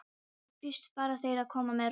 Þá fyrst fara þeir að koma með rósir.